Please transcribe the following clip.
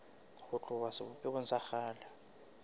ho tloha sebopehong sa kgale